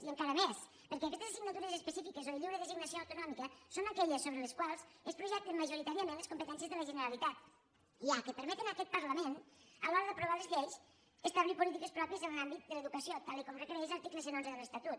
i encara més perquè aquestes assignatures específiques o de lliure designació autonòmica són aquelles sobre les quals es projecten majoritàriament les competències de la generalitat ja que permeten a aquest parlament a l’hora d’aprovar les lleis establir polítiques pròpies en l’àmbit de l’educació tal com requereix l’article cent i onze de l’estatut